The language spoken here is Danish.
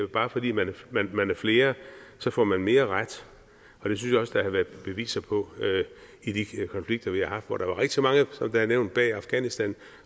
bare fordi man er flere får mere mere ret og det synes der har været beviser på i de konflikter vi har haft hvor der var rigtig mange som nævnt bag afghanistan og